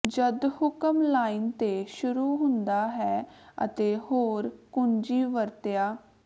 ਜਦ ਹੁਕਮ ਲਾਈਨ ਤੇ ਸ਼ੁਰੂ ਹੁੰਦਾ ਹੈ ਅਤੇ ਹੋਰ ਕੁੰਜੀ ਵਰਤਿਆ